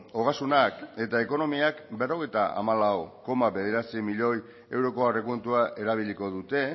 ogasunak eta ekonomiak berrogeita hamalau koma bederatzi milioi euroko aurrekontua erabiliko dute